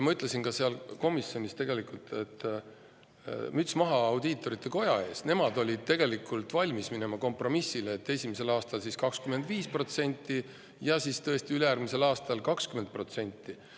Ma ütlesin ka seal komisjonis, et müts maha audiitorkogu ees, sest nemad olid tegelikult valmis minema kompromissile, et esimesel aastal 25% ja siis ülejärgmisel aastal 20%.